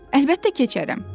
Əlbəttə keçərəm,